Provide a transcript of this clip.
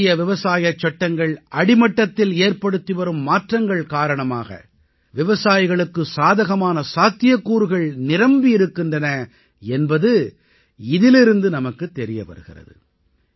புதிய விவசாயச் சட்டங்கள் அடிமட்டத்தில் ஏற்படுத்திவரும் மாற்றங்கள் காரணமாக விவசாயிகளுக்கு சாதகமான சாத்தியக்கூறுகள் நிரம்பி இருக்கின்றன என்பது இதிலிருந்து நமக்குத் தெரிய வருகிறது